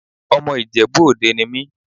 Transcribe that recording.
Ọmọ Ìjẹ̀bú Òde ni mí.